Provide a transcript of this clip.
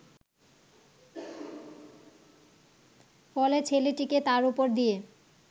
ফলে ছেলেটিকে তার ওপর দিয়ে